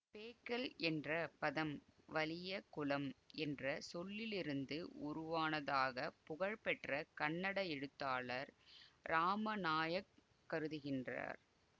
பேக்கல் என்ற பதம் வலிய குளம் என்ற சொல்லிலிருந்து உருவானதாக புகழ்பெற்ற கன்னட எழுத்தாளர் ராமநாயக் கருதுகின்றார்